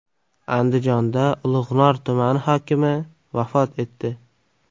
Andijonda Ulug‘nor tumani hokimi vafot etdi.